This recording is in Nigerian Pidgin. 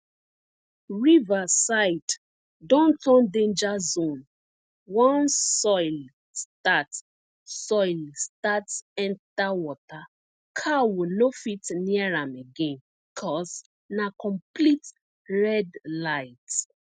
river side don turn danger zone once soil start soil start enter water cow no fit near am again cause na complete red light